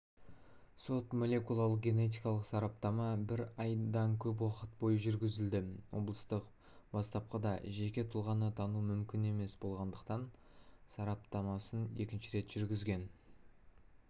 сот-молекулярлық генетикалық сараптама бір айдан көп уақыт бойы жүргізілді облыстық бастапқыда жеке тұлғаны тану мүмкін болмағандықтан сараптамасын екінші рет жүргізген